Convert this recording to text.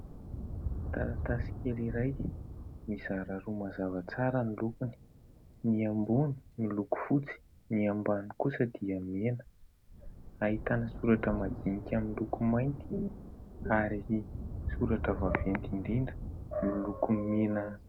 Taratasy kely iray mizara roa mazava tsara ny lokony : ny ambony miloko fotsy, ny ambany kosa dia mena. Ahitana soratra madinika miloko mainty ary soratra vaventy indrindra miloko mena.